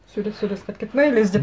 сөйлесіп сөйлесіп қайтып кетті ме или іздеп